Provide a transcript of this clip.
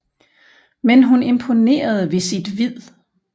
Men hun imponerede ved sit vid